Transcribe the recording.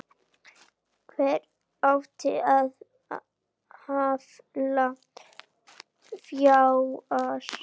Hvernig átti að afla fjár?